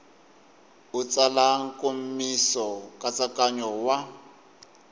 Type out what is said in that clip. u tsala nkomiso nkatsakanyo wa